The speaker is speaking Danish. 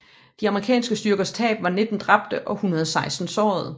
De amerikanske styrkers tab var 19 dræbte og 116 sårede